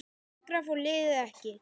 Lengra fór liðið ekki.